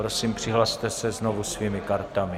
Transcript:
Prosím, přihlaste se znovu svými kartami.